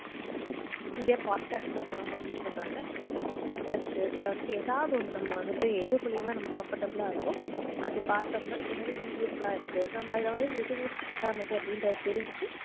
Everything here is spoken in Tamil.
இத brought cast ல publish பண்றாங்க இந்த brought cast இல்ல வந்து இல்ல ஏதாவது ஒன்னு நம்ம வந்துட்டு எது மூளியமாவோ நமக்கு comfortable ஆஹ் இருக்கோ அது பார்த்தம்னோ இன்னது videos லாம் இருக்கு நம்ம எது எது correct ஆனது